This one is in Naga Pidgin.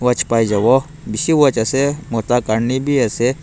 watch pai jabo bishi watch ase mota karne bi ase.